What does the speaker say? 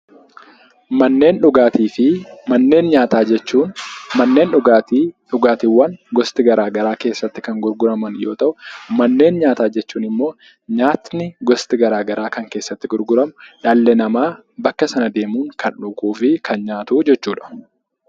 Manneen dhugaatii fi manneen nyaataa jechuun, manneen dhugaatii dhugaatiiwwan gosti garaagaraa keessatti kan gurguraman yoo ta'u, manneen nyaataa jechuun immoo nyaatni gosti garaagaraa kan keessatti gurguramu, dhalli namaa bakka sana deemuun kan dhuguu fi kan nyaatu jechuu dha.